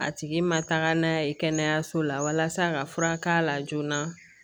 A tigi ma taga n'a ye kɛnɛyaso la walasa ka furak'a la joona